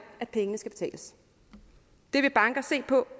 at pengene skal betales det vil banker se på